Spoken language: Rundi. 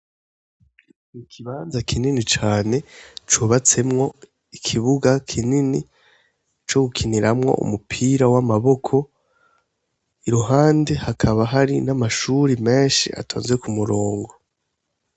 Ikibanza kinini cane cubatsemwo ikibuga kinini co gukiniramwo umupira w'amaboko ,iruhande hakaba hari n'amashuri menshi atonze k'umurongo.